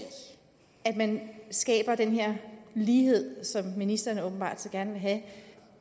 at man skaber den her lighed som ministeren åbenbart så gerne vil have